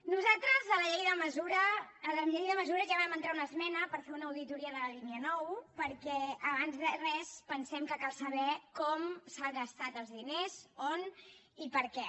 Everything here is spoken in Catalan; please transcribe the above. nosaltres a la llei de mesures ja vam entrar una esmena per fer una auditoria de la línia nou perquè abans de res pensem que cal saber com s’han gastat els diners on i per què